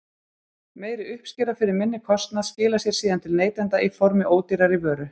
Meiri uppskera fyrir minni kostnað skilar sér síðan til neytenda í formi ódýrari vöru.